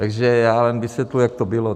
Takže já jen vysvětluji, jak to bylo.